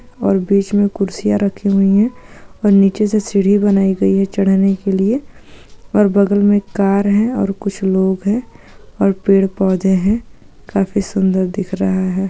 ओर बीच मे कुरसिया रखी हुई है ओर नीचे से सीडी बनाई गई है चड़ने के लिए ओर बगल मे एक कार है और कुछ लोग है ओर पेड़ पोधे है काफी सुंदर दिख रहा है।